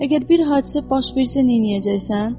Əgər bir hadisə baş versə neyləyəcəksən?